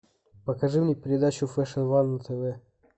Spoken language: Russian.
покажи мне передачу фэшн ван на тв